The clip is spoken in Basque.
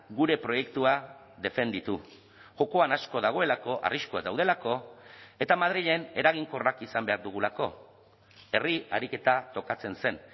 gure proiektua defenditu jokoan asko dagoelako arriskuak daudelako eta madrilen eraginkorrak izan behar dugulako herri ariketa tokatzen zen